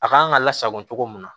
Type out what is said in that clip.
A kan ka lasago cogo mun na